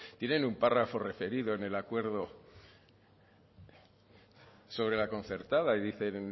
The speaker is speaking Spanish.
tienen un párrafo referido en el acuerdo sobre la concertada y dicen